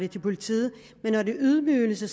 til politiet men når det er ydmygelse